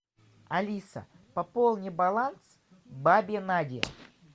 алиса пополни баланс бабе наде